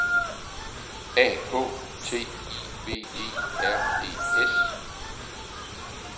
A K T I V E R E S